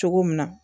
Cogo min na